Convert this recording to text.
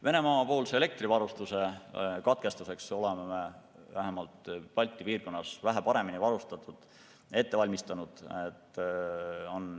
Venemaa-poolse elektrivarustuse katkestuseks oleme vähemalt Balti piirkonnas vähe paremini valmistunud.